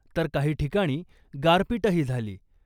तर काही ठिकाणी गारपीटही झाली .